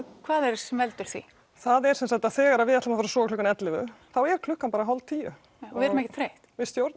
hvað veldur því það er sem sagt að þegar við ætlum að sofa klukkan ellefu þá er klukkan bara hálf tíu já við erum ekkert þreytt